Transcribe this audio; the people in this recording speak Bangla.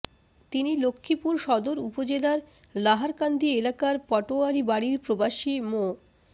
তিনি লক্ষ্মীপুর সদর উপজেলার লাহারকান্দি এলাকার পাটোয়ারী বাড়ির প্রবাসী মো